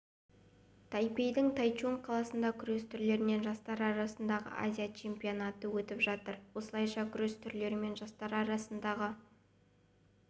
тайпейдің тайчунг қаласында күрес түрлерінен жастар арасындағы азия чемпионаты өтіп жатыр осылайша күрес түрлерінен жастар арасындағы